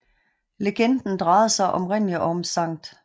Legenden drejede sig oprindelig om Skt